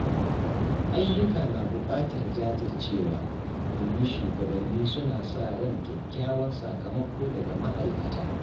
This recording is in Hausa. Ayyuka na bukatar jajircewa, domin shugabanni suna sa ran kyakkyawan sakamako daga ma’aikata.